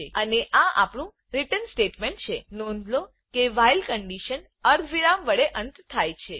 અને આ આપનું રીટર્ન સ્ટેટમેંટ છે નોંધ લો કે વ્હાઇલ વાઇલ કન્ડીશન અર્ધવિરામ વડે અંત થાય છે